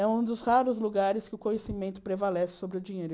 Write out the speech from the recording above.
É um dos raros lugares que o conhecimento prevalece sobre o dinheiro.